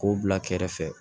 K'o bila kɛrɛfɛ